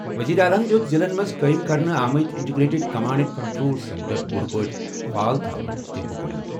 وزیر اعلیٰ یَن دِیُت ضِلعن منٛز قٲیِم کرنہٕ آمٕتۍ integrated command and control centre پوٗرٕ پٲٹھۍ فعال تھونُک حُکم۔